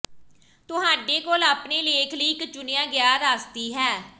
ਤੁਹਾਡੇ ਕੋਲ ਆਪਣੇ ਲੇਖ ਲਈ ਇੱਕ ਚੁਣਿਆ ਗਿਆ ਰਾਸਤੀ ਹੈ